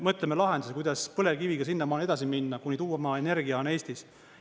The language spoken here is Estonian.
Mõtleme lahendusi, kuidas põlevkiviga sinnamaani edasi minna, kuni tuumaenergia on Eestis.